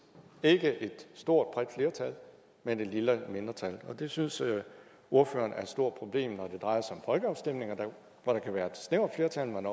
er ikke et stort bredt flertal men et lille flertal og det synes ordføreren er et stort problem når det drejer sig om folkeafstemninger hvor der kan være et snævert flertal men